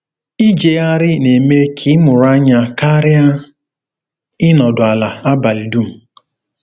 Ijegharị na-eme ka ịmụrụ anya karịa ịnọdụ ala abalị dum.